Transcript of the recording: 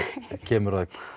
kemur að